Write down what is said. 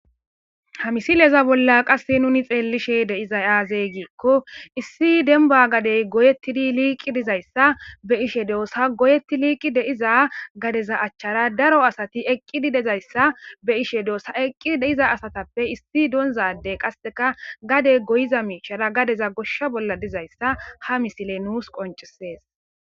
ha misileza bolla qasse nuni xeellishe de7izay aaze giikko issi denba gadey goyetti di liiqi dizayssa be7ishe doossa goyetti liiqi de7iza gadeza achchara daro asati eqqidi dizayssa be7ishe doossa eqqi de7iza asatappe issi doonza adey qasseka gade goyiza miishara gadeza goshsha bolla dizayssa ha misiley nuus qoncisees.